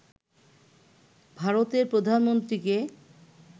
ভারতের প্রধানমন্ত্রীকে